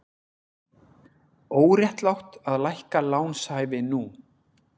Óréttlátt að lækka lánshæfi nú